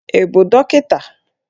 Ị bụ dọkịta?